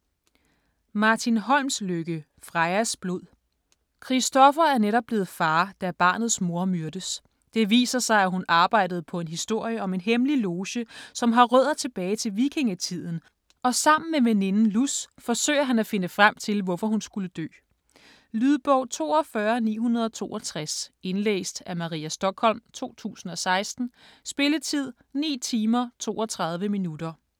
Holmslykke, Martin: Frejas blod Christopher er netop blevet far, da barnets mor myrdes. Det viser sig, at hun arbejdede på en historie om en hemmelig loge, som har rødder tilbage til vikingetiden, og sammen med veninden Luz forsøger han at finde frem til, hvorfor hun skulle dø. Lydbog 42962 Indlæst af Maria Stokholm, 2016. Spilletid: 9 timer, 32 minutter.